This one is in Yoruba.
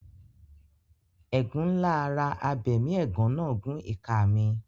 Ẹ̀gún ńlá ara abẹmiẹ̀gán náà gún ìka mi.